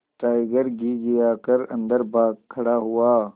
tiger घिघिया कर अन्दर भाग खड़ा हुआ